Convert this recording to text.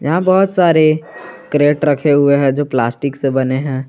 यहां बहोत सारे क्रेट रखे हुए हैं जो प्लास्टिक से बने हैं।